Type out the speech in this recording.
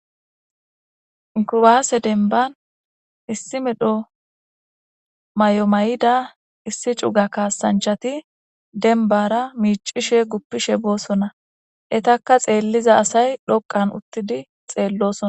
Kuwase demban issi medho mayo mayida issi cuga kaasanchati dembata miicishe gupishe boosona etaka xeelida asay dhoqan uthidi xeelosana.